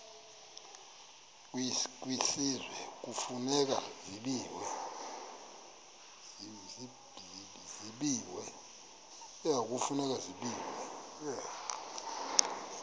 kwisizwe kufuneka zabiwe